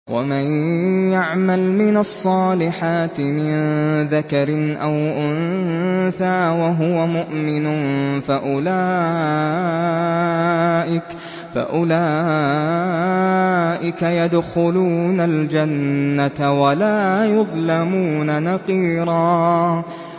وَمَن يَعْمَلْ مِنَ الصَّالِحَاتِ مِن ذَكَرٍ أَوْ أُنثَىٰ وَهُوَ مُؤْمِنٌ فَأُولَٰئِكَ يَدْخُلُونَ الْجَنَّةَ وَلَا يُظْلَمُونَ نَقِيرًا